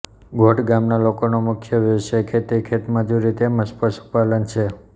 ગોઠ ગામના લોકોનો મુખ્ય વ્યવસાય ખેતી ખેતમજૂરી તેમ જ પશુપાલન છે